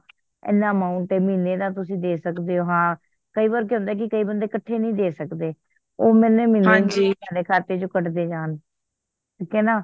ਹਨ amount ਆ ਮਹੀਨੇ ਦਾ ਤੁਸੀ ਦੇ ਸਕਦੇ ਹੋ ਹਾਂ ਕਈ ਵਾਰ ਕਿ ਹੁੰਦਾ ਕੀ ਕਈ ਬੰਦੇ ਕੱਠੇ ਨਹੀਂ ਦੇ ਸਕਦੇ ਉਹ ਮਹੀਨੇ ਮਹੀਨੇ ਆਪਣੇ ਆਪ ਖਾਤੇ ਚੋ ਕੱਢਦੇ ਜਾਨ ਠੀਕ ਹੈਨਾ